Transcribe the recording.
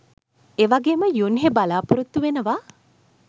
එවගේම යුන්හෙ බලාපොරොත්තු වෙනවා